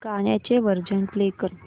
गाण्याचे version play कर